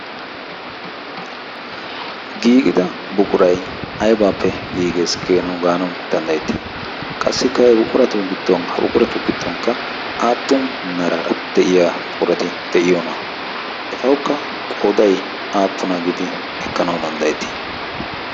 giigida buqurai aybaappe giigees geenawu gaanawu danddayettii qassikka buquratu gdon ha buquratu giddonkka aappun meraara de'iya puqurati de'iyoonaa etaukka qoodai aappuna giidi ekkanau danddayettii